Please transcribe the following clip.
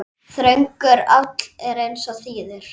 Þröngur áll er aðeins þíður.